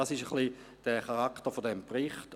Dies ist ein wenig der Charakter des Berichts.